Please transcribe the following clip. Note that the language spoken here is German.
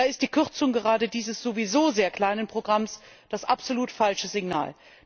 Da ist die Kürzung gerade dieses sowieso sehr kleinen Programms das absolut falsche Signal.